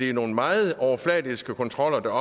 er nogle meget overfladiske kontroller der